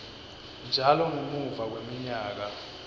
njalo ngemuva kweminyaka